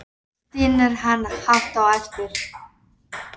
Svo stynur hann hátt á eftir.